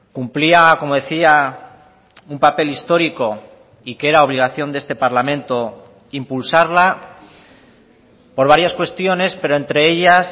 cumplía como decía un papel histórico y que era obligación de este parlamento impulsarla por varias cuestiones pero entre ellas